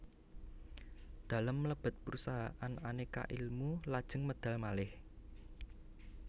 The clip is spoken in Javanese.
Dalem mlebet perusahaan Aneka Ilmu lajeng medal malih